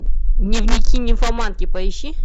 дневники нимфоманки поищи